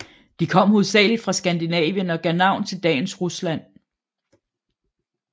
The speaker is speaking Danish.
De kom hovedsagelig fra Skandinavien og gav navn til dagens Rusland